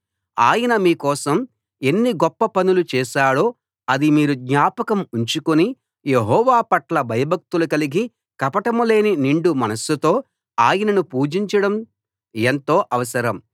ఆయన మీ కోసం ఎన్ని గొప్ప పనులు చేశాడో అది మీరు జ్ఞాపకం ఉంచుకుని యెహోవాపట్ల భయభక్తులు కలిగి కపటం లేని నిండు మనస్సుతో ఆయనను పూజించడం ఎంతో అవసరం